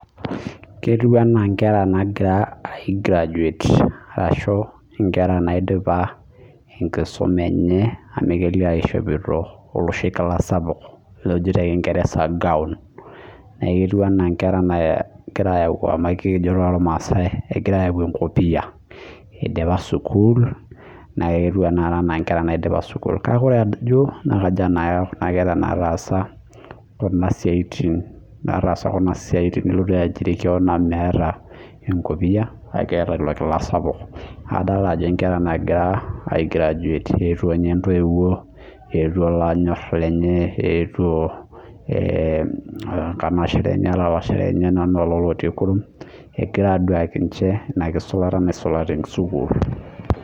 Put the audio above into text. Ketieu ena enkera nagiraa aigraduate ashu Nkera naidipa enkisuma enye amu adolita eshopito oloshi kila sapuk looji tee kingereza gawon kejo too irmaasai egira ayau enkopia eidipa sukuul naa ketiu tanakata ena enkera na taasat Kuna siatin nilotu aijiri kewon amu metaa enkopia kake etaa elo kila sapuk kadol Ajo enkera aing'uraa aigraduate ewuo ninche ntoiwuo etuo lonyor lenye etuo lalashera oo nkanashera enye Lolo otii kurum egira aduake ninche ena kisulata naisula tee sukuul